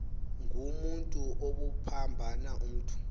ngumotu obuphambana umntu